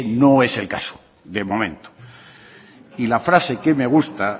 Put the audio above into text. no es el caso de momento y la frase que me gusta